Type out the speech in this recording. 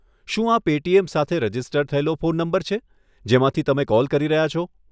શું આ પેટીએમ સાથે રજિસ્ટર થયેલો ફોન નંબર છે, જેમાંથી તમે કૉલ કરી રહ્યા છો?